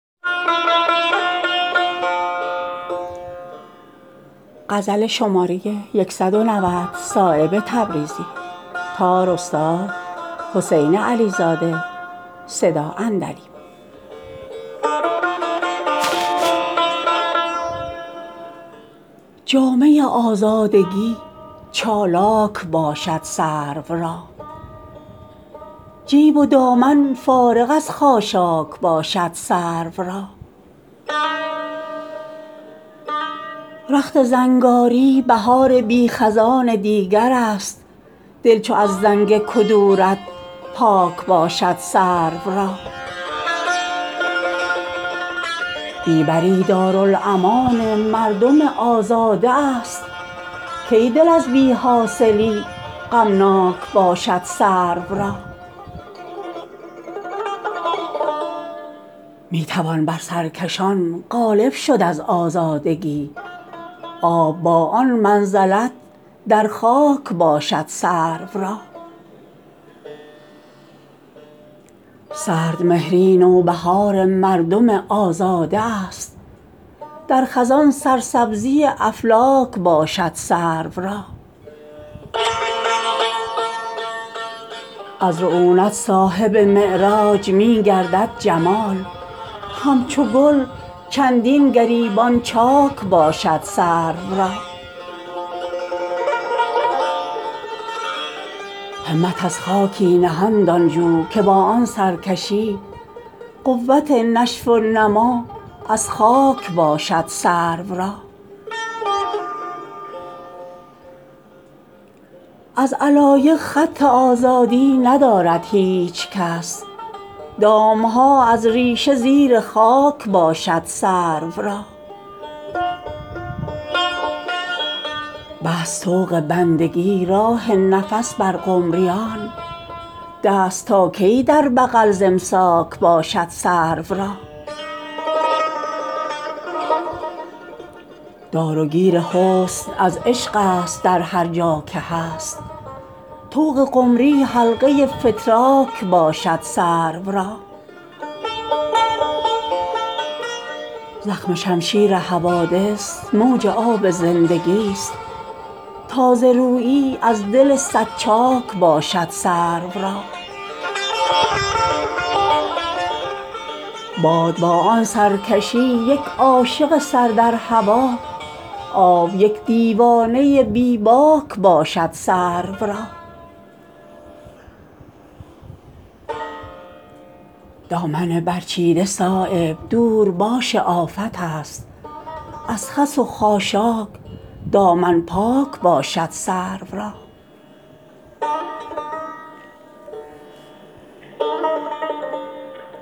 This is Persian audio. جامه آزادگی چالاک باشد سرو را جیب و دامن فارغ از خاشاک باشد سرو را رخت زنگاری بهار بی خزان دیگرست دل چو از زنگ کدورت پاک باشد سرو را بی بری دارالامان مردم آزاده است کی دل از بی حاصلی غمناک باشد سرو را می توان بر سرکشان غالب شد از آزادگی آب با آن منزلت در خاک باشد سرو را سرد مهری نوبهار مردم آزاده است در خزان سرسبزی افلاک باشد سرو را از رعونت صاحب معراج می گردد جمال همچو گل چندین گریبان چاک باشد سرو را همت از خاکی نهادان جو که با آن سرکشی قوت نشو و نما از خاک باشد سرو را از علایق خط آزادی ندارد هیچ کس دام ها از ریشه زیر خاک باشد سرو را بست طوق بندگی راه نفس بر قمریان دست تا کی در بغل ز امساک باشد سرو را دار و گیر حسن از عشق است در هر جا که هست طوق قمری حلقه فتراک باشد سرو را زخم شمشیر حوادث موج آب زندگی است تازه رویی از دل صد چاک باشد سرو را باد با آن سرکشی یک عاشق سر در هوا آب یک دیوانه بی باک باشد سرو را دامن برچیده صایب دور باش آفت است از خس و خاشاک دامن پاک باشد سرو را